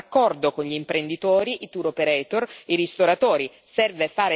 Serve un raccordo con gli imprenditori, i tour operator, i ristoratori.